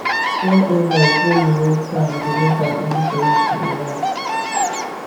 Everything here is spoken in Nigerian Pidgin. one invite wey you no plan go make am easy for you to relax